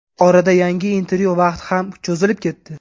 Orada yangi intervyu vaqti ham cho‘zilib ketdi.